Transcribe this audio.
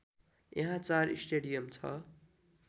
यहाँ चार स्टेडियम छ